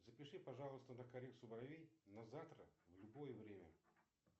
запиши пожалуйста на коррекцию бровей на завтра на любое время